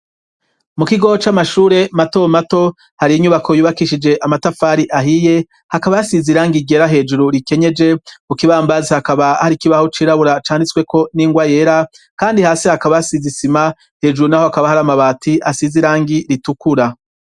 Mu kigoo c'amashure mato mato hari inyubako yubakishije amatafari ahiye, hakaba hasize irangi ryera hejuru rikenyeje, ku kibambazi hakaba hari ikibaho cirabura canditsweko n'ingwa yera, kandi hasi hakaba hasize isima, hejuru n'aho hakaba hari amabati asize irangi ritukura.